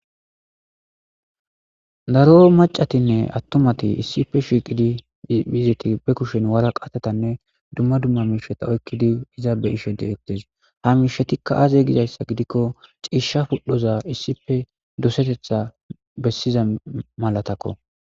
Daro macatinne attumati issife shiiqidi miziti be kushen wara qatatanne dumma dumma miisheta oykkidi iza be ishede ettes ha miishetikka aaze gizayssa gidikko ciisha pudhoza issife dosetetha bessiza malatakko.